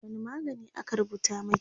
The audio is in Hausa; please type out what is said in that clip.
wani magani aka rubuta maki?